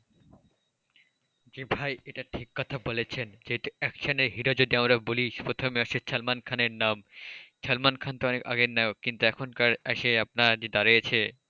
জি ভাই এটা ঠিক কথা বলেছেন যে action hero যদি আমরা বলি প্রথমেই আসে সালমান খানের নাম। সালমান খান তো অনেক আগের নায়ক, কিন্তু এখনকার আসে আপনার যেটা রয়েছে অনেক,